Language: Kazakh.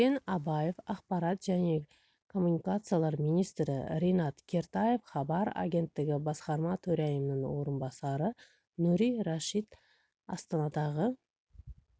дәурен абаев ақпарат және коммуникациялар министрі ринат кертаев хабар агенттігі басқарма төрайымының орынбасары нури рашид астанадағы